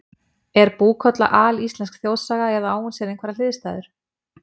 Er Búkolla alíslensk þjóðsaga eða á hún sér einhverjar hliðstæður?